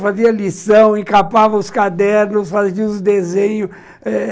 Fazia lição, encapava os cadernos, fazia os desenhos.